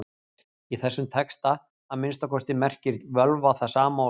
Í þessum texta, að minnsta kosti, merkir völva það sama og spákona.